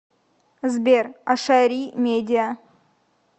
сбер ашари медиа